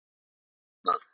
Er það ekki bannað?